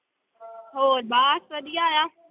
ਹੋਰ ਬਸ ਵਧੀਆ ਆ।